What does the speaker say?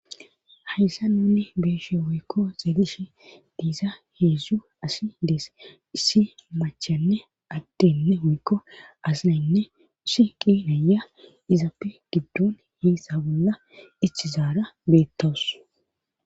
hayssa nunne beeshe woykko segish diisa heedzzu asi dees issi machanne addenne woykko asinaynne isi qinaya izappe giddon heessa bolla icchizaara beettowus